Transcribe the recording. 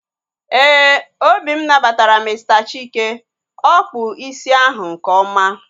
Éè, obi m nabatara Mr Chike, ọkpụ isi ahu nke ọma